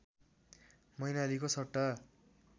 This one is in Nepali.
मैनालीको सट्टा